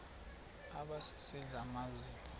aba sisidl amazimba